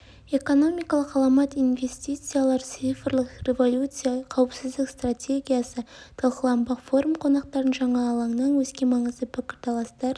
экономикалық ғаламат инвестициялар цифрлық революция қауіпсіздік стратегиясы талқыланбақ форум қонақтарын жаңа алаңнан өзге маңызды пікірталастар